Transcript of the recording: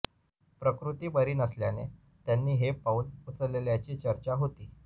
प्रकृती बरी नसल्याने त्यांनी हे पाऊल उचलल्याची चर्चा होती